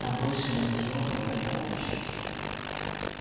там больше нет тела твоего товарища